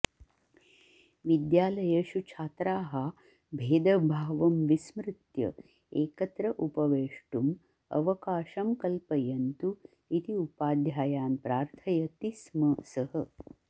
विद्यालयेषु छात्राः भेदभावं विस्मृत्य एकत्र उपवेष्टुम् अवकाशं कल्पयन्तु इति उपाध्यायान् प्रार्थयति स्म सः